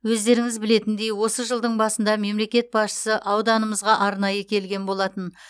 өздеріңіз білетіндей осы жылдың басында мемлекет басшысы ауданымызға арнайы келген болатын